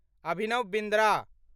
Abhinav Bindra